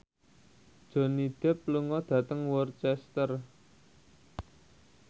Johnny Depp lunga dhateng Worcester